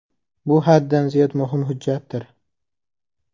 Bu haddan ziyod muhim hujjatdir.